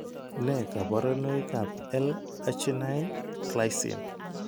Nee kabarunoikab L arginine:glycine?